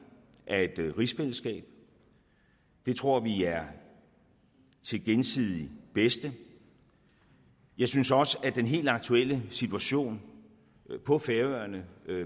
af et rigsfællesskab det tror vi er til gensidigt bedste jeg synes også at den helt aktuelle situation på færøerne